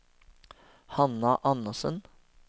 Hanna Andersen